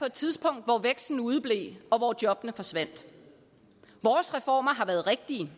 et tidspunkt hvor væksten udeblev og hvor jobbene forsvandt vores reformer har været rigtige de